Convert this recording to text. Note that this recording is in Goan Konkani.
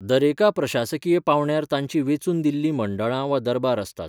दरेका प्रशासकीय पावंड्यार तांचीं वेंचून दिल्लीं मंडळां वा दरबार आसतात.